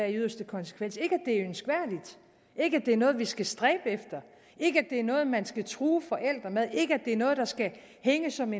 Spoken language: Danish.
i yderste konsekvens ikke ønskværdigt ikke at det er noget vi skal stræbe efter ikke at det er noget man skal true forældrene med ikke at det er noget der skal hænge som